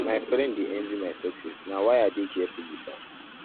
my friend dey envy my success na why i dey careful wit am